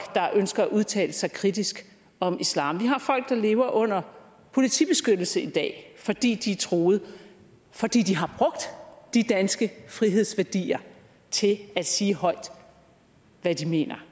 der ønsker at udtale sig kritisk om islam vi har folk der lever under politibeskyttelse i dag fordi de er truede fordi de har brugt de danske frihedsværdier til at sige højt hvad de mener